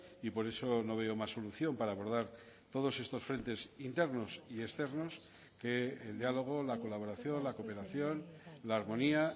y por eso no veo más solución para abordar todos estos frentes internos y externos que el diálogo la colaboración la cooperación la armonía